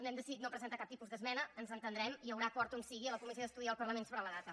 hem decidit no presentar cap tipus d’esmena ens entendrem hi haurà acord on sigui a la comissió d’estudi i al parlament sobre la data